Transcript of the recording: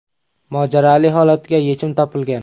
Mojaroli holatga yechim topilgan.